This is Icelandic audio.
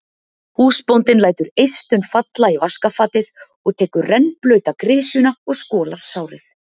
Húsbóndinn lætur eistun falla í vaskafatið og tekur rennblauta grisjuna og skolar sárið.